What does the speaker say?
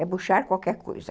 É Bouchard qualquer coisa.